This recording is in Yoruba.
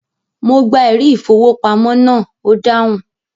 Mo gba “ ẹ̀rí-ìfowópamọ́” náà, ó dáhùn.